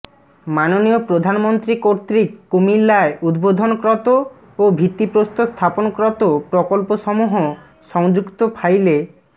মাননীয় প্রধানমন্ত্রী কর্তৃক কুমিল্লায় উদ্বোধনক্রত ও ভিত্তিপ্রস্তরস্থাপনক্রত প্রকলপসমূহ সংযুক্ত ফাইলে